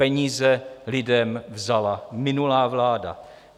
Peníze lidem vzala minulá vláda.